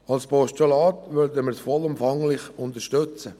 Als Postulat würden wir den Vorstoss vollumfänglich unterstützen.